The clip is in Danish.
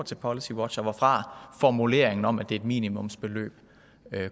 til policywatch og hvorfra formuleringen om at det er et minimumsbeløb